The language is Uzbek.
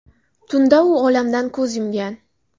Tunda u olamdan ko‘z yumgan.